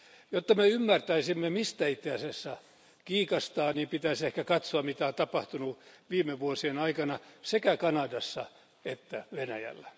Jotta me ymmärtäisimme, mistä itse asiassa kiikastaa, niin pitäisi ehkä katsoa mitä on tapahtunut viime vuosien aikana sekä Kanadassa että Venäjällä.